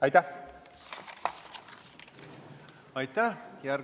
Aitäh!